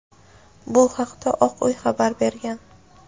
Bu haqda Oq uy xabar bergan.